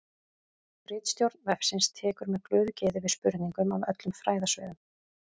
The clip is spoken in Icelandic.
Ritstjórn vefsins tekur með glöðu geði við spurningum af öllum fræðasviðum.